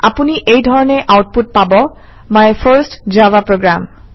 আপুনি এই ধৰণে আউটপুট পাব - মাই ফাৰ্ষ্ট জাভা program